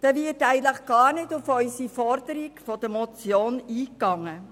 Darin wird gar nicht auf unsere Motionsforderung eingegangen.